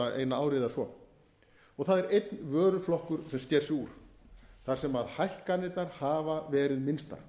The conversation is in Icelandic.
eina ári eða svo og það er einn vöruflokkur sem sker sig úr þar sem hækkanirnar hafa verið minnstar